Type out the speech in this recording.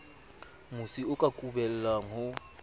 mosi o ka kubellang ho